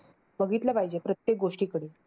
बघितलं पाहिजे प्रत्येक गोष्टीकडे.